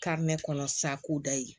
kɔnɔ sa ko da ye